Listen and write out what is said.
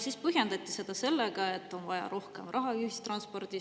Siis põhjendati seda sellega, et on vaja rohkem raha ühistransporti.